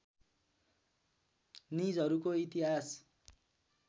निजहरूको इतिहास